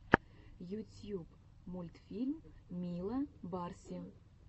ютьюб мультфильм мила барси